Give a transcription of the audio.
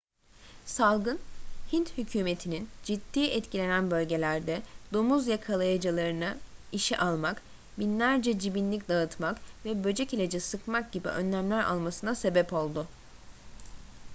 salgın hint hükümetininin ciddi etkilenen bölgelerde domuz yakalayıcılarını işe almak binlerce cibinlik dağıtmak ve böcek ilacı sıkmak gibi önlemler almasına sebep oldu